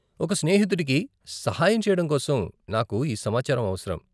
ఒక స్నేహితుడికి సహాయం చేయడం కోసం నాకు ఈ సమాచారం అవసరం.